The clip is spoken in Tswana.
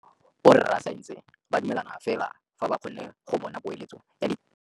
Borra saense ba dumela fela fa ba kgonne go bona poeletsô ya diteko tsa bone.